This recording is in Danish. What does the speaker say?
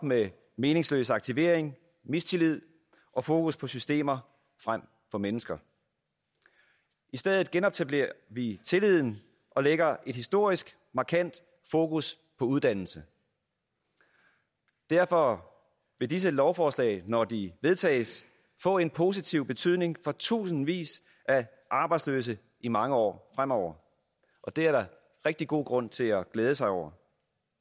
med meningsløs aktivering mistillid og fokus på systemer frem for mennesker i stedet genetablerer vi tilliden og lægger et historisk markant fokus på uddannelse derfor vil disse lovforslag når de vedtages få en positiv betydning for tusindvis af arbejdsløse i mange år fremover og det er der rigtig god grund til at glæde sig over